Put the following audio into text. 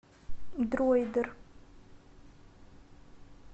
дройдер